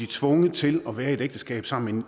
tvunget til at være i et ægteskab sammen